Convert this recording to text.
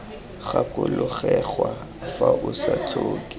gakologelwa fa o sa tlhoke